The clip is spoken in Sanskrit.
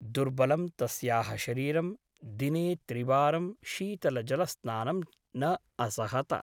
दुर्बलं तस्याः शरीरं दिने त्रिवारं शीतलजलस्नानं न असहत ।